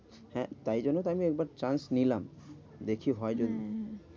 হ্যাঁ তাই জন্যই তো আমি একবার chance নিলাম। দেখি হয় যদি? হ্যাঁ হ্যাঁ